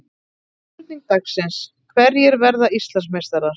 Spurning dagsins: Hverjir verða Íslandsmeistarar?